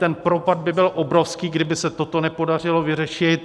Ten propad by byl obrovský, kdyby se toto nepodařilo vyřešit.